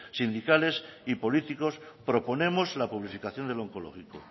sindicales y políticos proponemos la publificación de lo onkologiko